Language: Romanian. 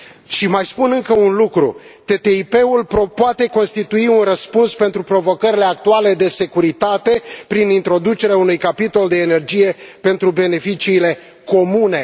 Și mai spun încă un lucru TTIP ul poate constitui un răspuns pentru provocările actuale de securitate, prin introducerea unui capitol de energie pentru beneficiile comune.